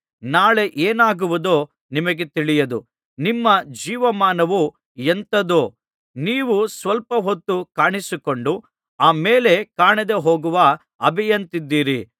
ನಾಳೆ ಏನಾಗುವುದೋ ನಿಮಗೆ ತಿಳಿಯದು ನಿಮ್ಮ ಜೀವಮಾನವು ಎಂಥದ್ದು ನೀವು ಸ್ವಲ್ಪ ಹೊತ್ತು ಕಾಣಿಸಿಕೊಂಡು ಆಮೇಲೆ ಕಾಣದೆ ಹೋಗುವ ಹಬೆಯಂತಿದ್ದೀರಿ